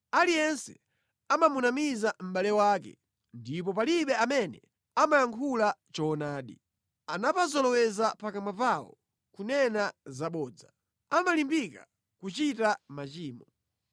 Aliyense amamunamiza mʼbale wake ndipo palibe amene amayankhula choonadi. Anapazoloweza pakamwa pawo kunena zabodza; amalimbika kuchita machimo.